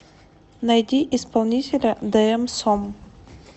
найди исполнителя дээм сом